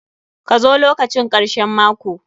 Ka zo lokacin karshen mako!